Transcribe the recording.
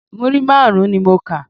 Múrí márùn-ún ni mo kà.